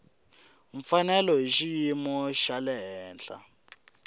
mfanelo hi xiyimo xa le